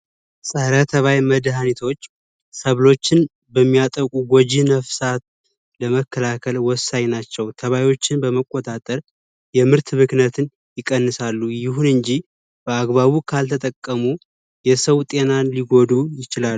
ፀረይ ተባይ መድኃኒቶች ሰብሎችን የሚያጠፉ ጐጂ ነፍሳቶችን የሚያጠፉ መከላከያዎች ናቸው፤ ተባይዎችን በመቆጣጠር የምርት ብክነትን ይቀንሳሉ። ይሁን እንጂ በአግባቡ ካልተጠቀሙ የሰውን ጤና ሊጎዱ ይችላሉ።